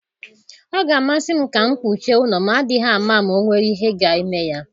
Ọ ga-amasị m ka m kpuchie ụlo m, adịghị ama ama ọ nwere ihe ga-eme ya.